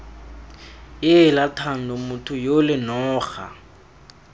heela thando motho yole noga